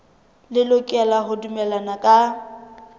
le lokela ho dumellana ka